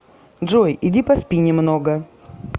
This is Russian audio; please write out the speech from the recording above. джой иди поспи немного